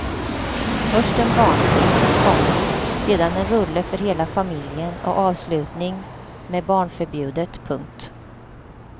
Först en barnfilm, komma sedan en rulle för hela familjen och avslutning med barnförbjudet. punkt